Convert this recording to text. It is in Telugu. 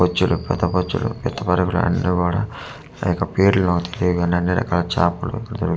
బొచ్చుడు పితబొచ్చుడు బ్రాండ్ కూడా ఆ యొక్క పేర్లు తెలియ గానే అన్నీ రకాల చపలు దొరుకుతాయి.